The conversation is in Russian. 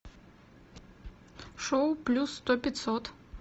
шоу плюс сто пятьсот